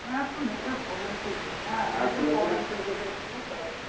হ্যাঁ একটু নেটের প্রবলেম চলছে, হ্যাঁ নেটের প্রবলেম চলছে তো একটু তার জন্য